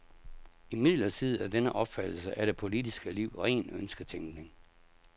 Imidlertid er denne opfattelse af det politiske liv ren ønsketænkning.